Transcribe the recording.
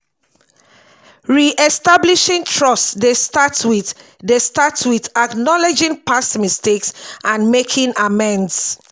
re-establishing trust dey start with dey start with acknowledging past mistakes and making amends.